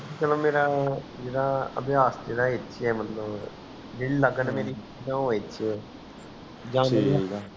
ਚਲੋ ਮੇਰਾ ਜੇਦਾ ਅਭਿਆਸ ਜੇੜ੍ਹਾ ਇਥੇ ਮਤਲਵ ਜੇਦੀ ਲੱਗਣ ਮੇਰੀ ਉਹ ਇਥੇ ਹ